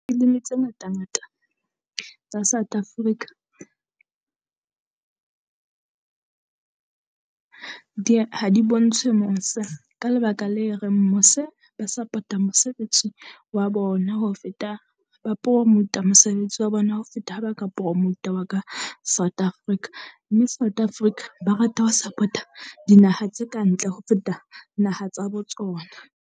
Filimi tse ngata ngata tsa South Africa di ye ha di bontshe mose. Ka lebaka le reng mose ba support-a mosebetsi wa bona ho feta ba promote-a mosebetsi wa bona ho feta ha ba ka promote-a wa ka South Africa. Mme South Africa ba rata ho support-a dinaha tse ka ntle ho feta naha tsa bo tsona.